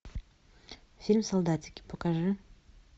фильм солдатики покажи